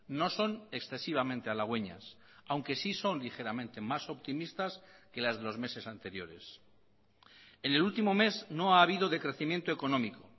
no son excesivamente halagüeñas aunque sí son ligeramente más optimistas que las de los meses anteriores en el último mes no ha habido decrecimiento económico